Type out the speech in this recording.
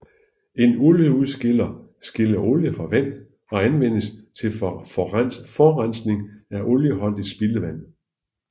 En olieudskiller skiller olie fra vand og anvendes til forrensning af olieholdigt spildevand